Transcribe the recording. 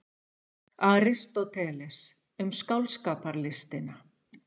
Aristóteles, Um skáldskaparlistina.